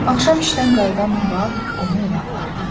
Axşam işdən qayıdan Murad onu evə apardı.